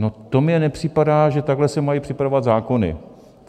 No to mně nepřipadá, že takhle se mají připravovat zákony.